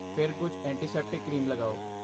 ਫਿਰ ਕੁਝ antiseptic cream ਲਗਾਓ।